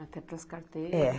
Até as carteiras. É